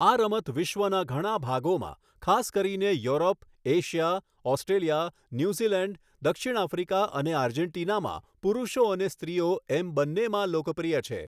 આ રમત વિશ્વના ઘણા ભાગોમાં, ખાસ કરીને યુરોપ, એશિયા, ઑસ્ટ્રેલિયા, ન્યૂઝીલેન્ડ, દક્ષિણ આફ્રિકા અને આર્જેન્ટિનામાં પુરુષો અને સ્ત્રીઓ એમ બન્નેમાં લોકપ્રિય છે.